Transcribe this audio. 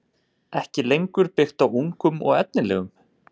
ekki lengur byggt á ungum og efnilegum?